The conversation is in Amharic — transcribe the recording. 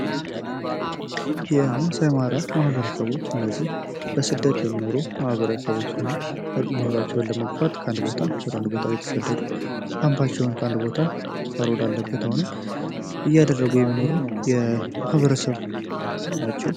የማሳይማራ ማህበረሰቦች እነዚህ በስደት የሚኖሩ ማህበረሰቦች ሢሆኑ ኑሯቸውን ለመግፋት ከአንድ ቦታ ወደ አንድ ቦታ እየተሰደዱ ካምባቸውን ከአንድ ቦታ ሳር ወዳለበት እያደረጉ የሚኖሩ የማህበረሰብ ናቸው።